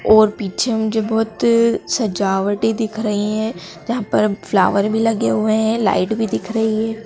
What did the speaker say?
और पीछे मुझे बहोत सजावटे दिख रही है जहां पर फ्लावर भी लगे हुए हैं। लाइट भी दिख रही है।